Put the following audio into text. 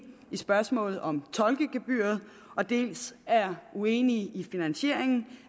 i spørgsmålet om tolkegebyret dels er uenige i finansieringen